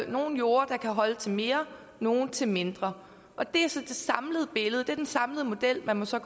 nogle jorder der kan holde til mere nogle til mindre og det er så det samlede billede det er den samlede model man så